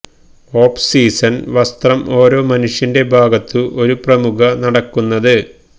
of season വസ്ത്രം ഓരോ മനുഷ്യന്റെ ഭാഗത്തു ഒരു പ്രമുഖ നടക്കുന്നത്